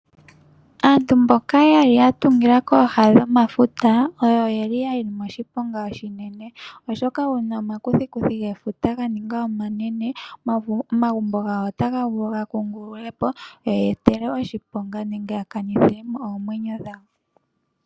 Aantu mboka yeli ya tungila kooha dhomafuta oyo ye li moshiponga unene, oshoka uuna wuli moshiponga gomakuthikuthi gefuta ga ninga omanene, omagumbo gawo ota ga vulu ga kungululwe po. E tage ya etele oshiponga nenge ya kanithile mo oomwenyo dhawo.